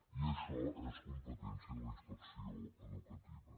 i això és competència de la inspecció educativa